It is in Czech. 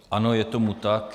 Ano, je tomu tak.